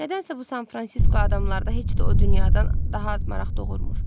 Nədənsə bu San Fransisko adamlarda heç də o dünyadan daha az maraq doğurmur.